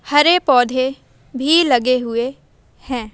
हरे पौधे भी लगे हुए हैं।